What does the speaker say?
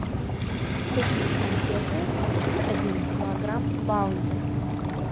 купи конфеты один килограмм баунти